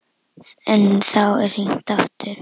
En þá er hringt aftur.